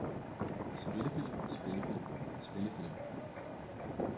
spillefilm spillefilm spillefilm